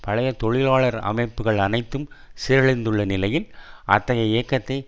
பழைய தொழிலாளர் அமைப்புக்கள் அனைத்தும் சீரழிந்துள்ள நிலையில் அத்தகைய இயக்கத்தை